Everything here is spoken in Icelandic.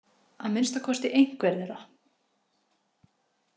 Að minnsta kosti einhver þeirra.